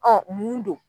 Ɔn mun don